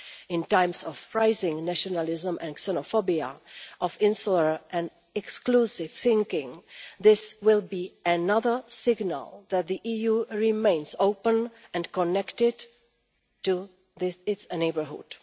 In times of rising nationalism and xenophobia, insular and exclusive thinking, this will be another signal that the EU remains open and connected to this, its neighbourhood.